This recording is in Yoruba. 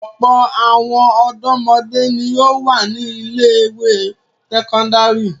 Ọ̀pọ̀ àwọn ọ̀dọ́mọdé ni ó wà ní ilé-ìwé sẹ́kọ́ndárì.